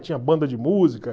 tinha banda de música.